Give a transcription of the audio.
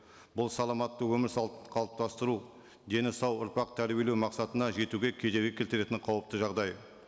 бұл саламатты өмір салт қалыптастыру дені сау ұрпақ тәрбиелеу мақсатына жетуге кедергі келтіретін қауіпті жағдай